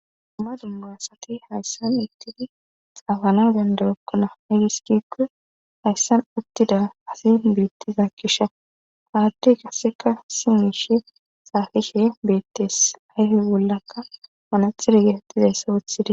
Dunma dumma asati hayssan ittidi xaafana bandagokkona igiskikku hayssan uttida asin biittiza kisha haaddey kasseka si mishe saafishe beettes ayfe bollakka wanaxire getettizayssa wuthid